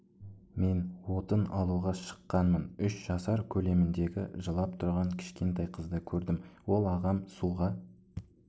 мен отын алуға шыққанмын үш жасар көлеміндегі жылап тұрған кішкентай қызды көрдім ол ағам суға